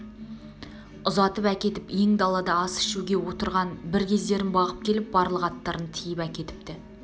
ұзатып әкетіп ен далада ас ішуге отырған бір кездерін бағып келіп барлық аттарын тиіп әкетіпті